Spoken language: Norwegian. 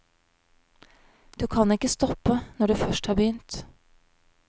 Du kan ikke stoppe når du først har begynt.